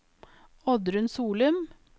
Oddrun Solum